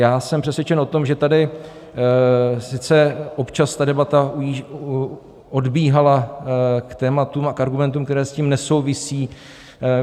Já jsem přesvědčen o tom, že tady sice občas ta debata odbíhala k tématům a k argumentům, které s tím nesouvisí.